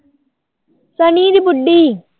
ਸਨੀ ਦੀ ਬੁ਼ਡੀ